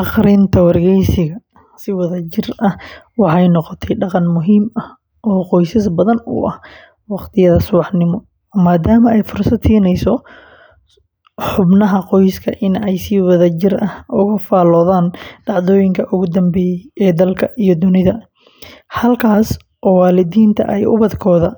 Akhrinta wargeyska si wadajir ah waxay noqotay dhaqan muhiim ah oo qoysas badan u ah waqtiyada subaxnimo, maadaama ay fursad siinayso xubnaha qoyska in ay si wadajir ah uga faaloodaan dhacdooyinka ugu dambeeyay ee dalka iyo dunida, halkaas oo waalidiinta ay ubadkooda